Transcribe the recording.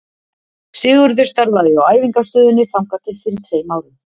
Sigurður starfaði hjá Æfingastöðinni þangað til fyrir tveim árum.